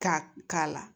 Ka k'a la